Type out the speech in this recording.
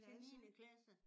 Til niende klasse